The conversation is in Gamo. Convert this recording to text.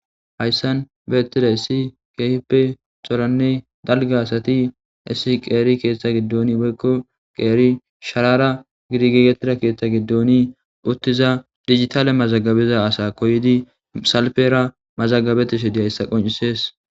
hayssan beettida issi keehippe coranne dalga asati issi qeeri keeththa giddoon woykko qeeri sharara gidigegetira keeththa giddooni uttiza digitale mazagabiza asa koydi salfera mazagabetishe diya hissa qoncisees.